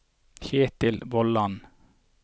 Ketil Vollan